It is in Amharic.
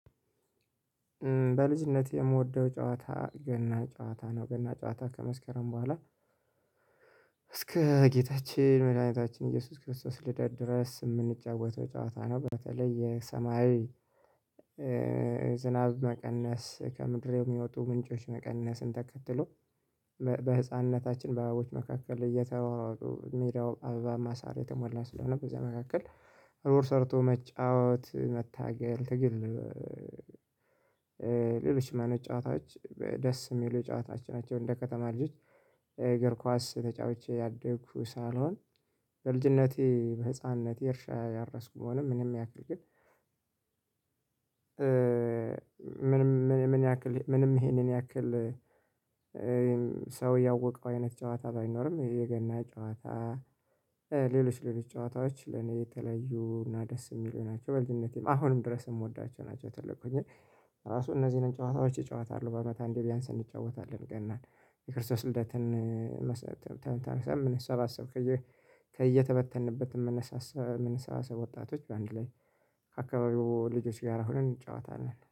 በልጅነት የምወደው ጨዋታ ገና ጨዋታ ነው ገና ጨዋታ ከመስከረም በኋላ እስከ ጌታችን መድኃኒታችን ኢየሱስ ክርስቶስ ልደት ድረስ የምንጫወተው ጨዋታ ነው። በተለይ የሰማያዊ ዝናብ መቀነስ ከምድር የሚወጡ ምንጮች መቀነስን ተከትሎ በህፃንነታችን በአባቦች መካከል እየተሯሯጡ ሜዳው አበባ ማሳረ የተሞላ ስለሆነ በዚህ መካከል ሩር ሰርቶ መጫወት መታገል ትግል። ሌሎች አይነት ጨዋታዎች ደስ የሚሉ የጨዋታቸው ናቸው። እንደ ከተማ ልጆች እግር ኳስ ተጫውቼ ያደኩ ሳልሆን በልጅነቴ በህፃንነቴ እርሻ ያረስኩ መሆኑን ምንም ያክል ግን። ምንም ይሄን ያክል ሰው ያወቀው አይነት ጨዋታ ባይኖርም የገና ጨዋታ ሌሎች ሌሎች ጨዋታዎች ለኔ የተለዩ እና ደስ የሚሉ ናቸው በልጅነቴም አሁንም ድረስ የምወዳቸው ናቸው። ትልቅ ሆኜ ራሱ እነዚህንን ጨዋታዎች እጫወታለው በአመት አንዴ ቢያንስ እንጫወታለን ገናን የክርስቶስ ልደትን። ሰምነህ ሰባሰብ ከየተበተንበት ምን ሰባሰብ ወጣቶች በአንድ ላይ ከአካባቢው ልጆች ጋር ሆነን እንጫወታለን